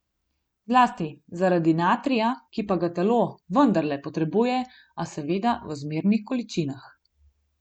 Zlasti zaradi natrija, ki pa ga telo vendarle potrebuje a seveda v zmernih količinah.